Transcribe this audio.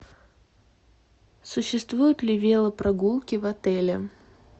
существуют ли велопрогулки в отеле